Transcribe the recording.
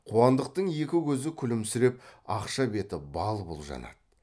қуандықтың екі көзі күлімсіреп ақша беті бал бұл жанады